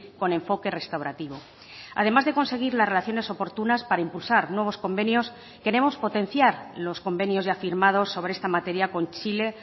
con enfoque restaurativo además de conseguir las relaciones oportunas para impulsar nuevos convenios queremos potenciar los convenios ya firmados sobre esta materia con chile